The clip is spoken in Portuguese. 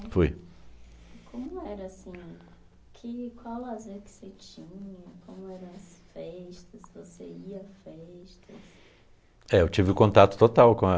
foi. E como era assim, que qual lazer você tinha, como eram as festas, você ia a festas? É, eu tive contato total com a